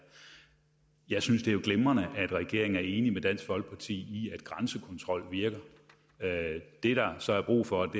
jeg synes det jo er glimrende at regeringen er enig med dansk folkeparti i at grænsekontrol virker det der så er brug for